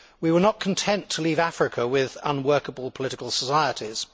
We were not content to leave Africa with unworkable political societies.